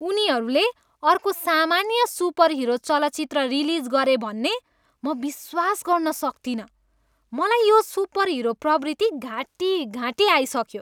उनीहरूले अर्को सामान्य सुपरहिरो चलचित्र रिलिज गरे भन्ने म विश्वास गर्न सक्तिनँ। मलाई यो सुपरहिरो प्रवृत्ति घाँटीघाँटी आइसक्यो।